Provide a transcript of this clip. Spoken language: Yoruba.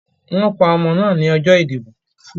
Wọ́n pa ọmọ náà lọ́jọ́ ìdìbò..